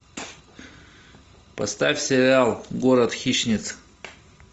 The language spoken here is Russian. поставь сериал город хищниц